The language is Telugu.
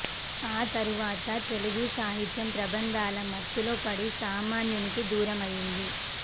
ఆ తరువాత తెలుగు సాహిత్యం ప్రబంధాల మత్తులోపడి సామాన్యు నికి దూరమైంది